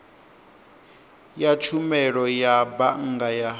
ya tshumelo ya bannga ya